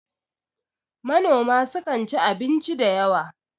manoma sukan ci abinci da yawa